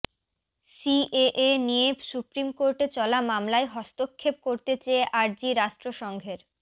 CAA নিয়ে supreme কোর্টে চলা মামলায় হস্তক্ষেপ করতে চেয়ে আর্জি রাষ্ট্র সংঘের